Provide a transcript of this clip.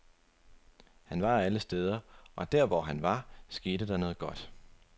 Han var alle steder, og der, hvor han var, skete der noget godt.